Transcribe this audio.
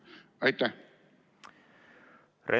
Aitäh!